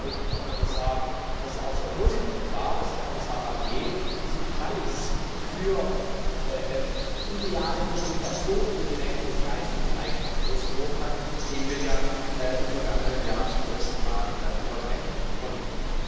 Deswegen glaube ich, Herr Kommissar, dass es auch sehr positiv war, dass Herr Kommissar Barnier den Preis für ideale Kommunikation über die Rechte des geistigen Eigentums ausgelobt hat, den wir ja im vergangenen Jahr zum ersten Mal überreichen konnten.